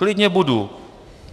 Klidně budu.